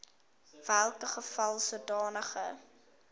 welke geval sodanige